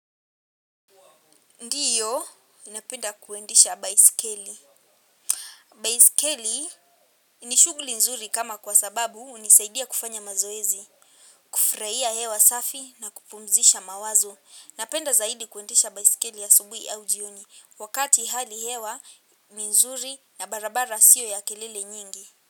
Ndio, ninapenda kuendesha baisikeli. Baisikeli ni shughuli nzuri kama kwa sababu hunisaidia kufanya mazoezi. Kufurahia hewa safi na kupumzisha mawazo. Napenda zaidi kuendesha baisikeli asubuhi au jioni. Wakati hali hewa, ni nzuri na barabara sio ya kelele nyingi.